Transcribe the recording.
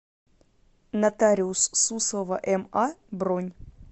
нотариус суслова ма бронь